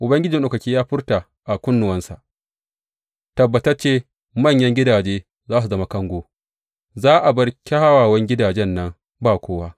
Ubangiji Maɗaukaki ya furta a kunnuwana, Tabbatacce manyan gidajen za su zama kango, za a bar kyawawan gidajen nan ba kowa.